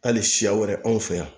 Hali siya wɛrɛ anw fɛ yan